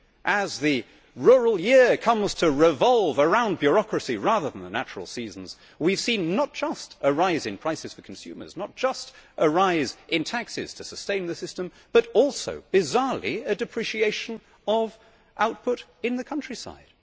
As the rural year comes to revolve around bureaucracy rather than the natural seasons, we have seen not just a rise in prices for consumers and a rise in taxes to sustain the system but also, bizarrely, a depreciation of output in the countryside.